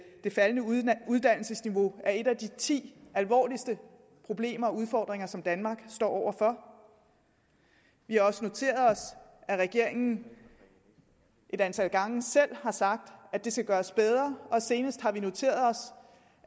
det faldende uddannelsesniveau er et af de ti alvorligste problemer eller udfordringer som danmark står over for vi har også noteret os at regeringen et antal gange selv har sagt at det skal gøres bedre og senest har vi noteret os